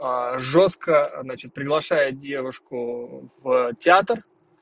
жёстко значит приглашает девушку в театр